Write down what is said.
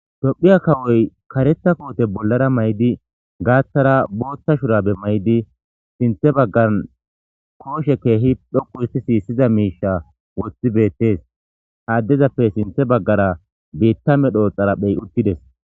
Tophphiya kawoyi kareththa kote bolara mayidi gathara botha shurabe mayidi sinthan bagara koshe kehi dhoqu hisitiza mishsha wothi beteesi ha adezappe sinththe bagara betiza medhoyi utideesi